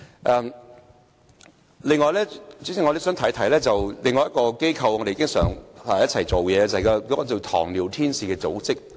此外，代理主席，我也想提一提另一個經常與我們合作的機構，就是名為"糖尿天使"的組織。